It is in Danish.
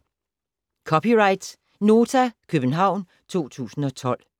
(c) Nota, København 2012